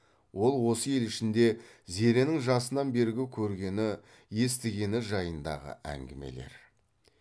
ол осы ел ішінде зеренің жасынан бергі көргені естігені жайындағы әңгімелер